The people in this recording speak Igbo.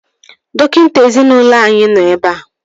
Dọkịta ezinaụlọ anyị nọ ebea